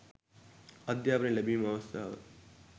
අධ්‍යාපනය ලැබීමේ අවස්ථාව